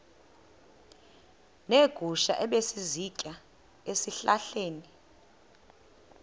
neegusha ebezisitya ezihlahleni